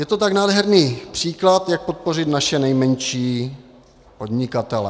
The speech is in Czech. Je to tak nádherný příklad, jak podpořit naše nejmenší podnikatele.